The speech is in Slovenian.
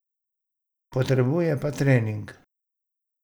Potrebuje pa trening.